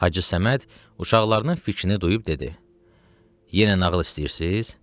Hacı Səməd uşaqlarının fikrini duyub dedi: Yenə nağıl istəyirsiz?